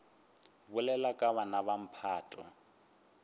bolela ka bana ba mphato